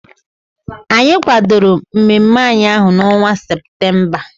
Anyị kwadoro mmemme anyị ahụ n'ọnwa Seputemba.